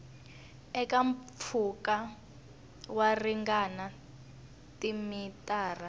eka mpfhuka wo ringana timitara